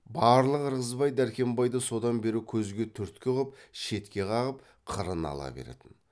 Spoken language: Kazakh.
барлық ырғызбай дәркембайды содан бері көзге түрткі ғып шетке қағып қырына ала беретін